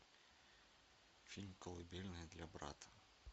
фильм колыбельная для брата